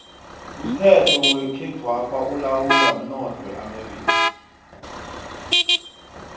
umnoth wekhethwapha ulawulwa mnotho weamerika